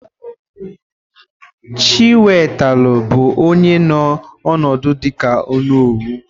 Chiwetalụ bụ onye nọ ọnọdụ dịka ónówù.